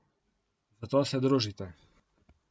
Zato se družite!